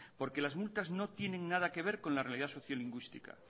porque las multas no tienen nada que ver con la realidad sociolingüística